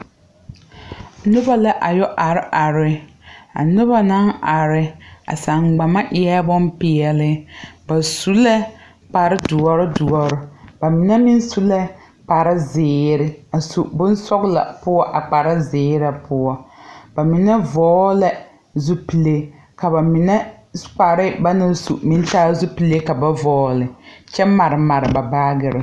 Nobɔ la a yɛ are are a nobɔ naŋ are a saŋgbama eɛɛ bonpeɛle ba su lɛ kpare doɔre doɔre ba mine meŋ su lɛ kpare zeere su bonsɔglɔ a poɔ a kpare zeere na poɔ ba mine vɔɔlɛ zupile ka ba mine kpare ba naŋ su meŋ raa zupile ka ba vɔɔle kyɛ mare mare ba baagirre.